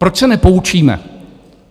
Proč se nepoučíme?